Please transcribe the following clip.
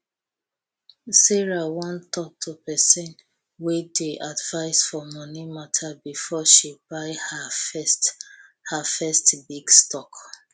sarah wan talk to pesin wey dey advise for moni mata befor she buy ha first ha first big stock